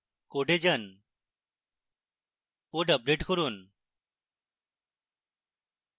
code যান code update করুন